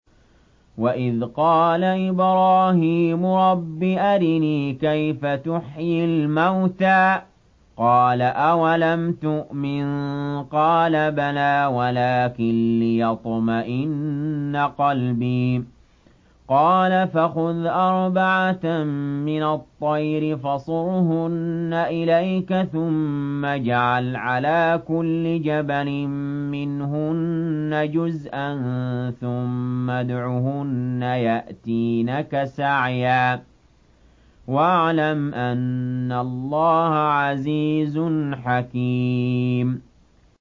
وَإِذْ قَالَ إِبْرَاهِيمُ رَبِّ أَرِنِي كَيْفَ تُحْيِي الْمَوْتَىٰ ۖ قَالَ أَوَلَمْ تُؤْمِن ۖ قَالَ بَلَىٰ وَلَٰكِن لِّيَطْمَئِنَّ قَلْبِي ۖ قَالَ فَخُذْ أَرْبَعَةً مِّنَ الطَّيْرِ فَصُرْهُنَّ إِلَيْكَ ثُمَّ اجْعَلْ عَلَىٰ كُلِّ جَبَلٍ مِّنْهُنَّ جُزْءًا ثُمَّ ادْعُهُنَّ يَأْتِينَكَ سَعْيًا ۚ وَاعْلَمْ أَنَّ اللَّهَ عَزِيزٌ حَكِيمٌ